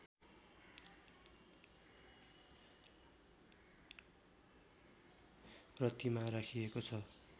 प्रतिमा राखिएको छ